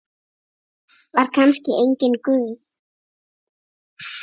Var kannski enginn Guð?